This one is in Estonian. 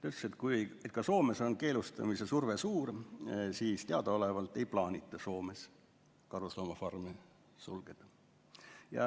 Tammemägi ütles, et Soomes on küll keelustamise surve suur, kuid teadaolevalt ei plaanita seal karusloomafarme sulgeda.